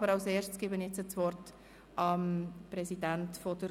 Aber vorher gebe ich dem Kommissionspräsidenten das Wort.